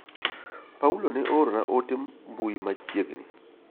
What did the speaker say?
Paulo ne oorona ote mbui machiegni.